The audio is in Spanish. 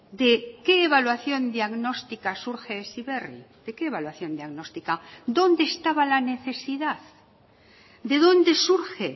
de qué evaluación diagnóstica surge heziberri de qué evaluación diagnóstica dónde estaba la necesidad de dónde surge